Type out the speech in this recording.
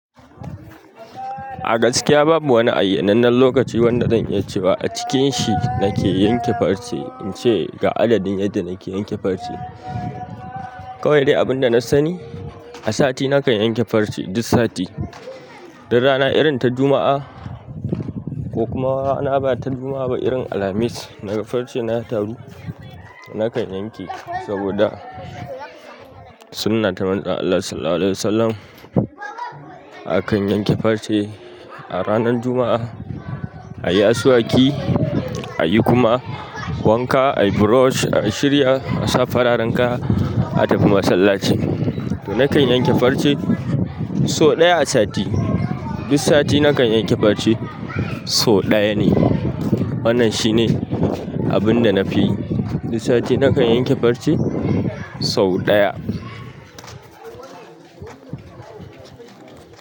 A gaskiya babu wani ayya nannan lokaci wanda zan iya cewa a cikin shi nake yanke farce, in ce ga adadin yadda nake yanke farce. Kawai dai abin da na sani, a sati nakan yanke farce duk sati. Duk rana irin ta Juma'a, ko kuma rana ba ta Juma'a ba irin Alhamis, naga farce na ya taru, nakan yanke saboda sunnata Manzan Allah Sallallahu Alaihi Wasallam akan yanke farce a ranar Juma'a, a yi asuwaki, a yi kuma wanka, a yi brush, a shirya, a sa fararen kaya, a tafi masallaci. To nakan yanke farce sau ɗaya a sati. Duk sati nakan yanke farce sau ɗaya ne. Wannan shine abin da na fi yi. Duk sati nakan yanke farce sau ɗaya.